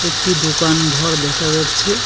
একটি দোকান ঘর দেখা যাচ্ছে।